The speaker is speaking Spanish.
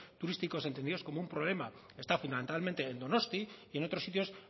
turísticos entendidos como un problema está fundamentalmente en donosti y en otros sitios